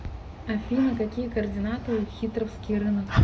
афина какие координаты у хитровский рынок